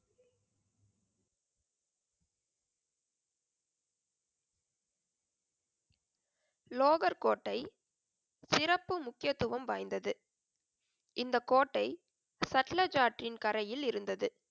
லோகர் கோட்டை சிறப்பு முக்கியத்துவம் வாய்ந்தது. இந்தக் கோட்டை சட்லஜாற்றின் கரையில் இருந்தது.